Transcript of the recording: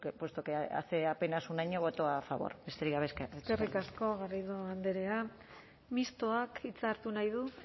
puesto que hace apenas un año votó a favor besterik gabe eskerrik asko eskerrik asko garrido andrea mistoak hitza hartu nahi du